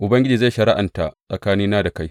Ubangiji zai shari’anta tsakanina da kai.